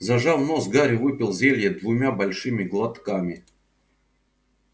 зажав нос гарри выпил зелье двумя большими глотками